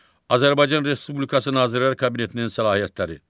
Azərbaycan Respublikası Nazirlər Kabinetinin səlahiyyətləri.